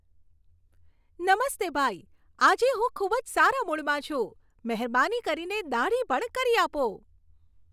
નમસ્તે ભાઈ. આજે હું ખૂબ જ સારા મૂડમાં છું. મહેરબાની કરીને દાઢી પણ કરી આપો.